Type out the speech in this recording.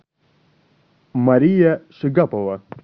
мария шигапова